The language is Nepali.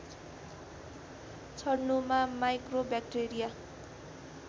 छडनुमा माइक्रोबैक्टेरिया